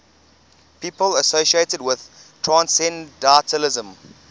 people associated with transcendentalism